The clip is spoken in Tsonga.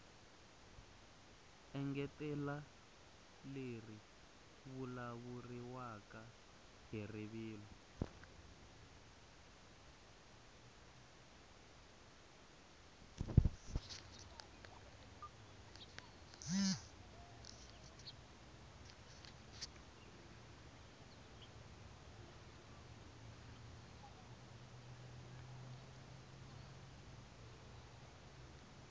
engetela leri vulavuriwaka hi rivilo